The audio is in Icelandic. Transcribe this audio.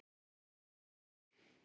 Það var gott hjá honum.